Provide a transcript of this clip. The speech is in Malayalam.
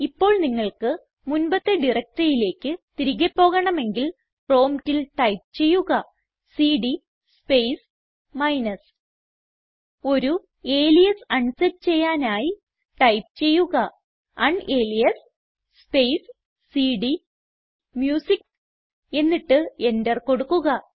ഇപ്പോൾ നിങ്ങൾക്ക് മുൻപത്തെ directoryയിലേക്ക് തിരികെ പോകണമെങ്കിൽ പ്രോംപ്റ്റിൽ ടൈപ്പ് ചെയ്യുക സിഡി സ്പേസ് മൈനസ് ഒരു അലിയാസ് അൺ സെറ്റ് ചെയ്യാനായി ടൈപ്പ് ചെയ്യുക ഉനാലിയാസ് സ്പേസ് സിഡിഎംയൂസിക്ക് എന്നിട്ട് എന്റർ കൊടുക്കുക